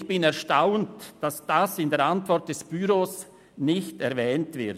Ich bin erstaunt, dass dies in der Antwort des Büros nicht erwähnt wird.